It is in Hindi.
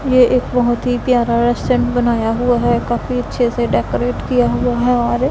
ये एक बहोत ही प्यारा रेस्टोरेंट बनाया हुआ है काफी अच्छे से डेकोरेट किया हुआ है और--